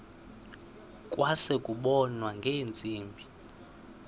kwase kubonwa ngeentsimbi